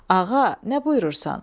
Ağa, nə buyurursan?